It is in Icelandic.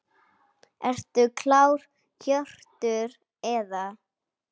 Ertu klár Hjörtur eða?